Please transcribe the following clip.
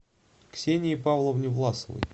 ксении павловне власовой